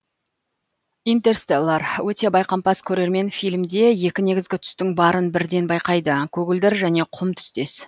интерстеллар өте байқампаз көреремен фильмде екі негізгі түстің барын бірден байқайды көгілдір және құм түстес